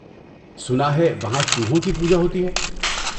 سنا ہے وہاں چوہوں کی پوجا ہوتی ہے!